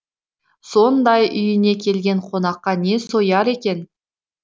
сонда үйіне келген қонаққа не сояр екен